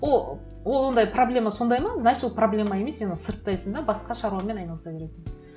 ол ондай проблема сондай ма значит ол проблема емес сен оны сұрыптайсың да басқа шаруамен айналыса бересің